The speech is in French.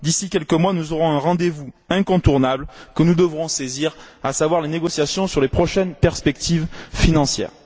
D'ici quelques mois, nous aurons un rendez vous incontournable que nous devrons saisir, à savoir les négociations sur les prochaines perspectives financières.